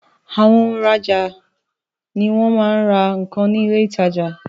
Àwọn òhun ra ọja ni awọn ti wọn ra nkan ni ile ìtajà